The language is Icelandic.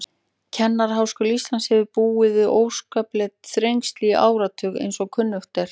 Kennaraháskóli Íslands hefur búið við óskapleg þrengsli í áratugi, eins og kunnugt er.